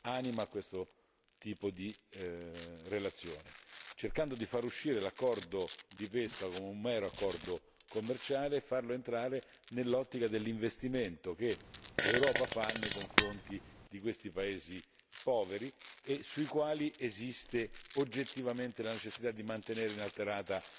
anima a questo tipo di relazione, cercando di far uscire l'accordo di pesca come un mero accordo commerciale e farlo entrare nell'ottica dell'investimento che l'Europa fa nei confronti di questi paesi poveri e sui quali esiste oggettivamente la necessità di mantenere inalterato